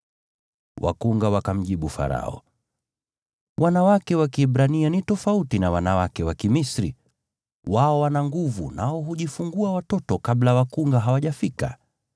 Wakunga wakamjibu Farao, “Wanawake wa Kiebrania ni tofauti na wanawake wa Kimisri; wao wana nguvu, nao hujifungua watoto kabla wakunga hawajafika.”